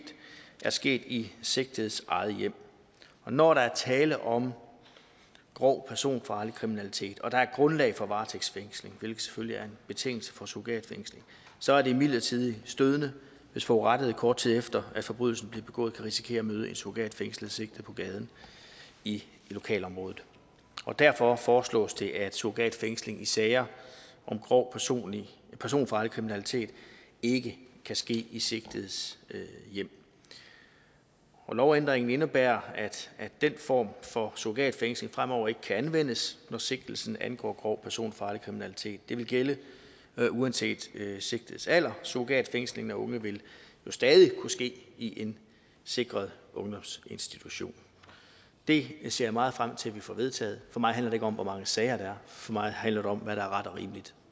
er sket i sigtedes eget hjem når der er tale om grov personfarlig kriminalitet og der er grundlag for varetægtsfængsling hvilket selvfølgelig er en betingelse for surrogatfængsling så er det imidlertid stødende hvis forurettede kort tid efter at forbrydelsen er begået kan risikere at møde en surrogatfængslet sigtet på gaden i lokalområdet og derfor foreslås det at surrogatfængsling i sager om grov personfarlig personfarlig kriminalitet ikke kan ske i sigtedes hjem lovændringen indebærer at den form for surrogatfængsling fremover ikke kan anvendes når sigtelsen angår grov personfarlig kriminalitet det vil gælde uanset sigtedes alder surrogatfængsling af unge vil stadig kunne ske i en sikret ungdomsinstitution det ser jeg meget frem til at vi får vedtaget for mig handler det ikke om hvor mange sager der er for mig handler det om hvad der er ret og rimeligt